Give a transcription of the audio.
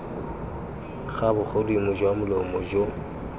ga bogodimo jwa molomo jo